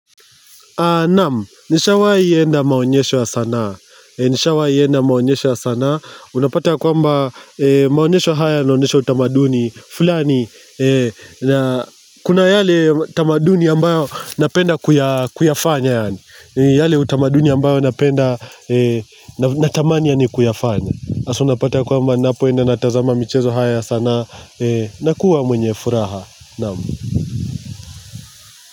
Naam, nishawahi enda maonyesho ya sanaa Nishawahi enda maonyesho ya sanaa Unapata ya kwamba maonyesho haya yanaonesho utamaduni fulani, kuna yale utamaduni ambayo napenda kuya kuyafanya yani yale utamaduni ambayo napenda, natamani ya ni kuyafanya hasa unapata ya kwamba napo enda natazama michezo haya sana Nakua mwenye furaha Naam.